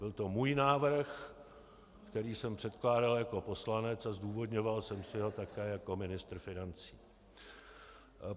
Je to můj návrh, který jsem předkládal jako poslanec, a zdůvodňoval jsem si ho také jako ministr financí.